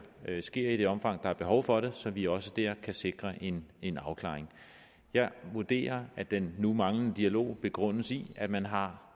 sker i det omfang der er behov for det så vi også der kan sikre en en afklaring jeg vurderer at den nu manglende dialog begrundes i at man har